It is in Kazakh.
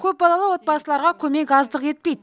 көпбалалы отбасыларға көмек аздық етпейді